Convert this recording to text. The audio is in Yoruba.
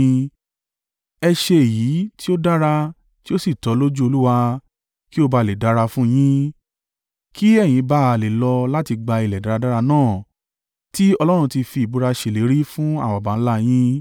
Ẹ ṣe èyí tí ó dára tí ó sì tọ́ lójú Olúwa, kí ó bá à lè dára fún un yín, kí ẹ̀yin bá à lè lọ láti gba ilẹ̀ dáradára náà tí Ọlọ́run ti fi ìbúra ṣèlérí fún àwọn baba ńlá a yín.